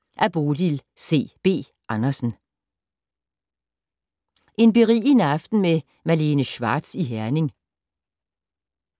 En berigende aften med Malene Schwartz i Herning